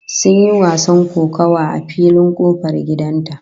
Sun yi wasan kokawa a filin kofar gidan ta